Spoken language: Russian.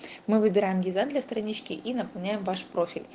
мы выбираем дизайн для странички и наполняем ваш профиль